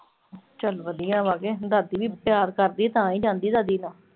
ਚਲ ਵਧੀਆ ਵਾ। ਦਾਦੀ ਵੀ ਪਿਆਰ ਕਰਦੀ ਆ, ਤਾਂ ਹੀ ਜਾਂਦੀ ਆ ਦਾਦੀ ਨਾਲ।